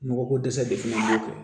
Nɔgɔ ko dɛsɛ de fana b'o kɛ